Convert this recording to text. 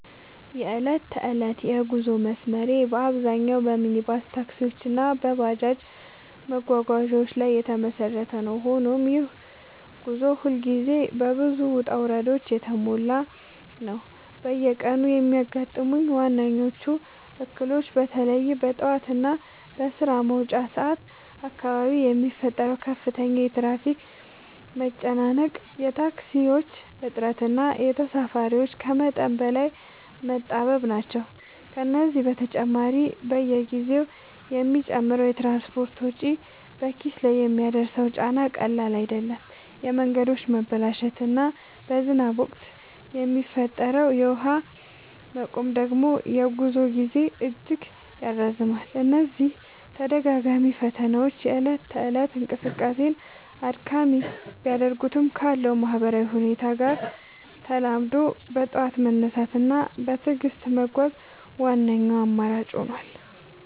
የዕለት ተዕለት የጉዞ መስመሬ በአብዛኛው በሚኒባስ ታክሲዎች እና በባጃጅ መጓጓዣዎች ላይ የተመሰረተ ነው፤ ሆኖም ይህ ጉዞ ሁልጊዜ በብዙ ውጣ ውረዶች የተሞላ ነው። በየቀኑ የሚያጋጥሙኝ ዋነኞቹ እክሎች በተለይም በጠዋት እና በስራ መውጫ ሰዓት አካባቢ የሚፈጠረው ከፍተኛ የትራፊክ መጨናነቅ፣ የታክሲዎች እጥረት እና ተሳፋሪዎች ከመጠን በላይ መጣበብ ናቸው። ከዚህ በተጨማሪ፣ በየጊዜው የሚጨምረው የትራንስፖርት ወጪ በኪስ ላይ የሚያደርሰው ጫና ቀላል አይደለም፤ የመንገዶች መበላሸት እና በዝናብ ወቅት የሚፈጠረው የውሃ መቆም ደግሞ የጉዞ ጊዜን እጅግ ያራዝመዋል። እነዚህ ተደጋጋሚ ፈተናዎች የእለት ተእለት እንቅስቃሴን አድካሚ ቢያደርጉትም፣ ካለው ነባራዊ ሁኔታ ጋር ተላምዶ በጠዋት መነሳት እና በትዕግስት መጓዝ ዋነኛው አማራጭ ሆኗል።